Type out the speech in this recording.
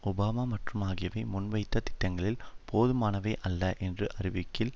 Obama மற்றும் ஆகியவை முன்வைத்த திட்டங்கள் போதுமானவை அல்ல என்று அறிவிக்கையில்